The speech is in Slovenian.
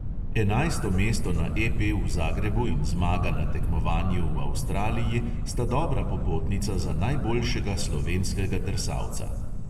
Enajsto mesto na EP v zagrebu in zmaga na tekmovanju v avstraliji sta dobra popotnica za najboljšega slovenskega drsalca.